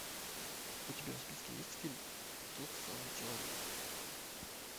у тебя в списке есть фильм тот самый человек